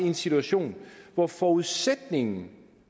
en situation hvor forudsætningen